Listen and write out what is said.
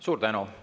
Suur tänu!